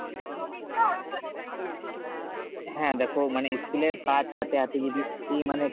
হ্যাঁ দেখো মানে school এর কাজ হাতে হাতে যদি ই মানে